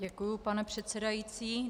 Děkuji, pane předsedající.